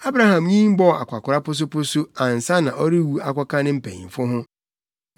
Abraham nyin bɔɔ akwakoraa posoposo ansa na ɔrewu akɔka ne mpanyimfo ho.